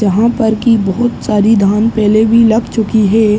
जहा पर कि बहोत सारी पहले भी लग चुकी है।